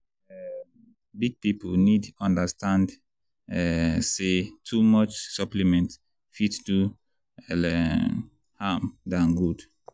um big people need understand um say too much supplement fit do more um harm than good.